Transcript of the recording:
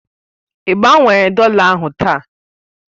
Ị gbanwere dọla ahụ taa?